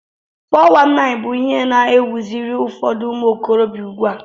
419 bụ ihe na ewuziri ụfọdụ umuokorobia ugbua